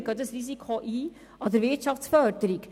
Dieses Risiko gehen wir ein.